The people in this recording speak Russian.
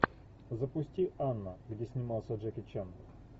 запусти анна где снимался джеки чан